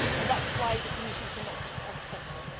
That is why the Commission cannot accept them.